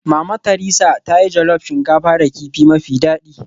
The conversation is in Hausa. Mama Theresa ta yi jollof shinkafa da kifi mafi daɗi